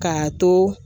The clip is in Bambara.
K'a to